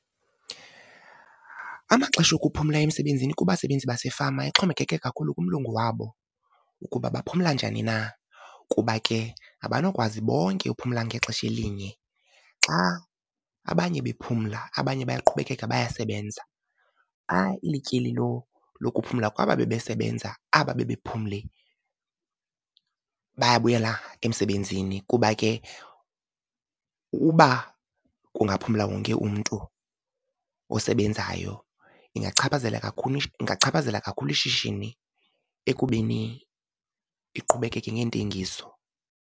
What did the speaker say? Amaxesha okuphumla emsebenzini kubasebenzi basefama ixhomekeke kakhulu kumlungu wabo ukuba baphumla njani na, kuba ke abanokwazi bonke uphumla ngexesha elinye. Xa abanye bephumla abanye buyaqhubekeka bayasebenza. Xa ilityeli lokuphumla kwaba bebesebenza, aba bebephumle bayabuyela emsebenzini kuba ke uba kungaphumla wonke umntu osebenzayo ingachaphazela kakhulu ingachaphazela kakhulu ishishini ekubeni iqhubekeke ngeentengiso.